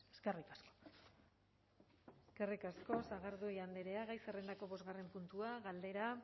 eskerrik asko eskerrik asko sagardui andrea gai zerrendako bosgarren puntua galdera